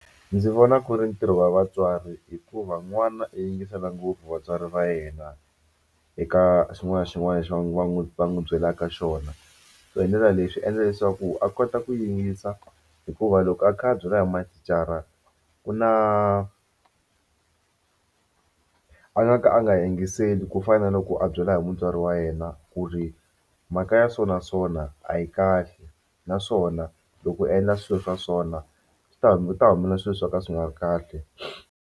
Ndzi vona ku ri ntirho wa vatswari hikuva n'wana i yingisela ngopfu vatswari va yena eka xin'wana na xin'wana lexi va n'wi va n'wi va n'wi byelaka xona so hi ndlela leyi swi endla leswaku a kota ku yingisa hikuva loko a kha a byela hi mathicara ku na a nga ka a nga yingiseli ku fana na loko a byela hi mutswari wa yena ku ri mhaka ya so na so na a yi kahle naswona loko u endla swilo swa so na swi ta ku ta humelela swilo swo ka swi nga ri kahle.